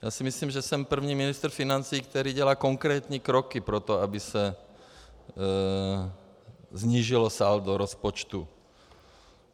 Já si myslím, že jsem první ministr financí, který dělá konkrétní kroky pro to, aby se snížilo saldo rozpočtu.